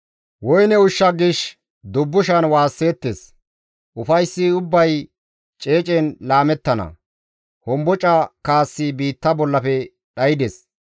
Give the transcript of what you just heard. Woyne ushsha gishshas dubbushan waasseettes; ufayssi ubbay ceecen laamettana; homboca kaassi biitta bollafe dhaydes.